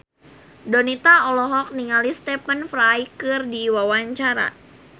Donita olohok ningali Stephen Fry keur diwawancara